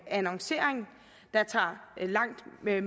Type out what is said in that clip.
annoncering der tager langt mere